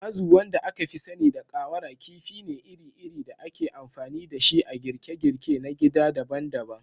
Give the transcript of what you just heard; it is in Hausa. Azu, wanda aka fi sani da ƙawara, kifi ne iri-iri da ake amfani da shi a girke-girke na gida daban-daban